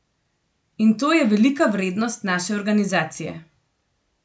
In to je velika vrednost naše organizacije.